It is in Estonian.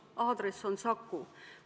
Aadress on Saku.